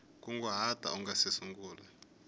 nkunguhato u nga si sungula